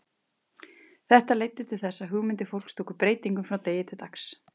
Við vorum búnir að ákveða að það kæmu engir fullorðnir nálægt þessu, sagði Kobbi.